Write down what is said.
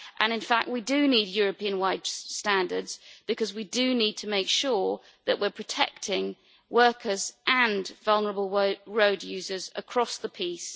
In fact, we do need European wide standards because we need to make sure that we are protecting workers and vulnerable road users across the piece.